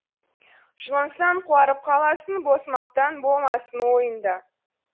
жұлынсаң қуарып қаласың бос мақтан болмасын ойыңда